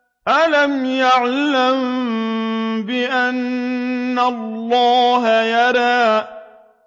أَلَمْ يَعْلَم بِأَنَّ اللَّهَ يَرَىٰ